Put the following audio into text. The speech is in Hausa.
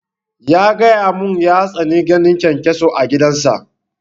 Ya gaya mun ya tsani ganin kyankyaso a gidan sa